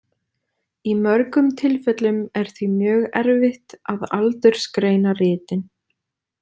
Í mörgum tilfellum er því mjög erfitt að aldursgreina ritin.